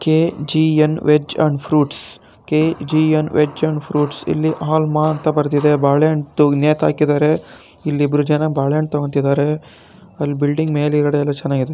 KGN. Veg and fruits K G N. Veg and fruits ಇಲ್ಲಿ ಇಲ್ಲಿ ಹಾಳ್ ಮಾ ಅಂತ ಬರೆದಿದೆ ಇಲ್ಲಿ ಇಬ್ಬರು ಬಾಳೆ ಹಣ್ಣು ತಗೋತಿದ್ದಾರೆ ಮೇಲಾಗದೆ ನೋಡಕೆ ತುಂಬಾ ಚೆನ್ನಾಗಿದೆ.